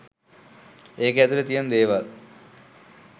ඒකෙ ඇතුළෙ තියෙන දේවල්